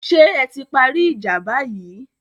Ṣé ẹ ti parí ìjà báyìí?